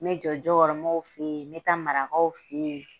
Me jɔ jokɔrɔmɔw fe ye, me taa marakaw fe ye.